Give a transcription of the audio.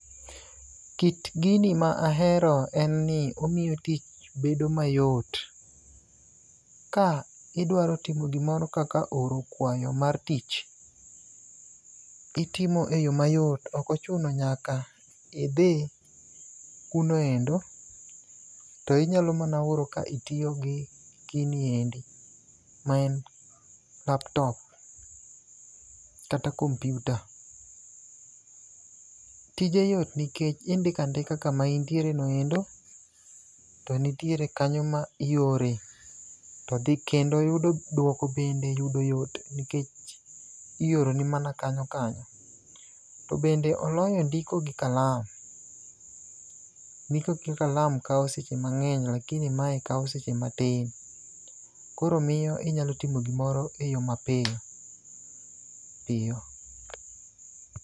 Kit gini ma ahero en ni omiyo tich bedo mayot . Ka idwaro timo gimoro kaka oro kwayo mar tich, itimo e yo mayot. Ok ochuno nyaka idhi kuno endo to inyalo mana oro ka itiyo gi gini endi ma en laptop kata kompyuta. Tije yot nikech indiko andika kama intiere no endo ,to nitiere kanyo ma iore to dhi kendo yudo dwoko bende yudo yot nikech ioroni mana kanyo kanyo. To bende oloyo ndiko gi kalam. Ndiko gi kalam kawo seche mang'eny lakini mae kawo seche matin. Koro miyo inyalo timo gimoro e yo mapiyo piyo.